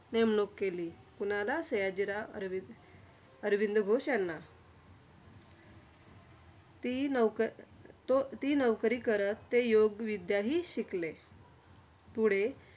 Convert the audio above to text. नेमणूक केली. कोणाला? सयाजीराव अरविंद घोष यांना. ती नोक तो ती नोकरी करत, ते योगविद्या हि शिकले. पुढे